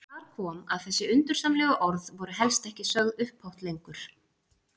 Þar kom að þessi undursamlegu orð voru helst ekki sögð upphátt lengur.